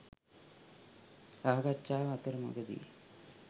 සාකච්ඡාව අතරමඟදී